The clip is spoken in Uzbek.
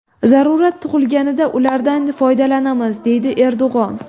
Zarurat tug‘ilganida ulardan foydalanamiz”, deydi Erdo‘g‘on.